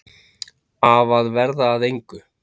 Af að verða að engu.